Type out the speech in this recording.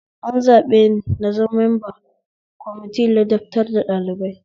An zaɓeni in zama memba kwamitin ladabtar da ɗalibai